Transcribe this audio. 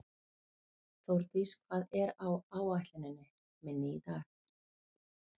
Þórdís, hvað er á áætluninni minni í dag?